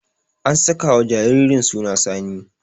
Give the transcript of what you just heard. An sakawa jaririn suna Sani.